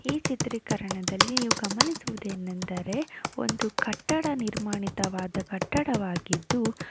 ಈ ಚಿತ್ರೀಕರಣದಲ್ಲಿ ಗಮನಿಸುವುದೇನೆಂದರೆ ಒಂದು ಕಟ್ಟಡ ನಿರ್ಮಾಣಿತವಾದ ಕಟ್ಟಡವಾಗಿದ್ದು.